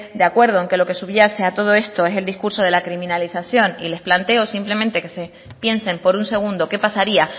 de acuerdo en que lo que subyace a todo esto es el discurso de la criminalización y les planteo simplemente que se piensen por un segundo qué pasaría